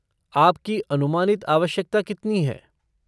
आपकी अनुमानित आवश्यकता कितनी है?